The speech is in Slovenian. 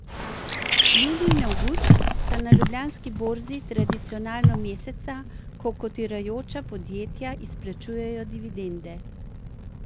Julij in avgust sta na ljubljanski borzi tradicionalno meseca, ko kotirajoča podjetja izplačujejo dividende.